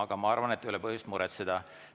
Aga ma arvan, et ei ole põhjust muretseda.